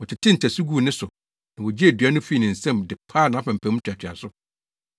Wɔtetee ntasu guu ne so na wogyee dua no fii ne nsam de paa nʼapampam ntoatoaso.